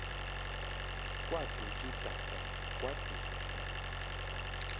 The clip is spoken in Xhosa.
kwaduk idada kwaduk